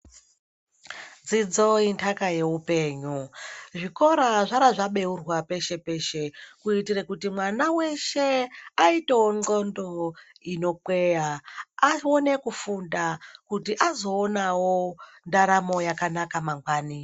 Dzidzo indaka yeupenyu, zvikora zvarazvabeurwa peshe-peshe, kuitire kuti mwana weshe aitewo ndxondo inokweya aone kufunda kuti azoonawo ndaramo yakanaka mangwani.